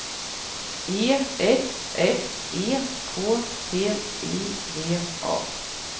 E F F E K T I V A